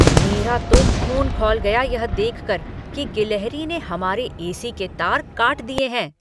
मेरा तो ख़ून खौल गया यह देखकर की गिलहरी ने हमारे एसी के तार काट दिए हैं।